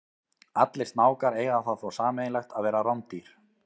Allir snákar eiga það þó sameiginlegt að vera rándýr.